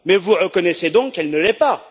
Vous reconnaissez donc qu'elle ne l'est pas!